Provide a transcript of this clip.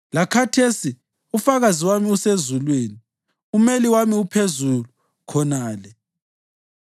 Lakhathesi ufakazi wami usezulwini; umeli wami uphezulu khonale.